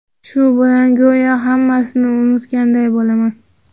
Shu bilan go‘yo hammasini unutganday bo‘laman.